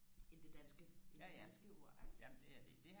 end det danske end det danske ord ikke